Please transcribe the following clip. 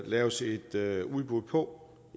laves et udbud på